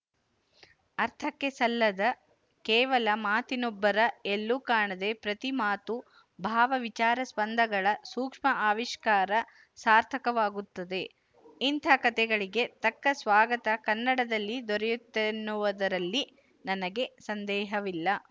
ಅರ್ಥಕ್ಕೆ ಸಲ್ಲದ ಕೇವಲ ಮಾತಿನುಬ್ಬರ ಎಲ್ಲೂ ಕಾಣದೆ ಪ್ರತಿ ಮಾತೂ ಭಾವ ವಿಚಾರಸ್ಪಂದಗಳ ಸೂಕ್ಷ್ಮ ಆವಿಷ್ಕಾರ ಸಾರ್ಥಕವಾಗುತ್ತದೆ ಇಂಥ ಕಥೆಗಳಿಗೆ ತಕ್ಕ ಸ್ವಾಗತ ಕನ್ನಡದಲ್ಲಿ ದೊರೆಯುತ್ತದೆನ್ನುವುದರಲ್ಲಿ ನನಗೆ ಸಂದೇಹವಿಲ್ಲ